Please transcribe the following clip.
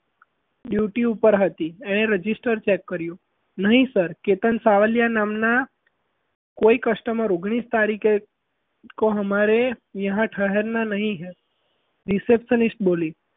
duety ઉપર હતી એણે register check કર્યું નહીં પર કેતન સાવલિયા નામના કોઈ customer ઓગણીસ તારીખે અમારે યહ ઠહરના નહીં હૈ receptionist બોલી.